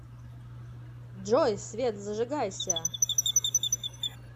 джой свет зажигайся